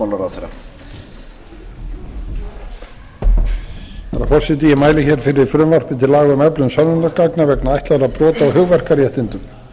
herra forseti ég mæli hér fyrir frumvarpi til laga um öflun sönnunargagna vegna ætlaðra brota á hugverkaréttindum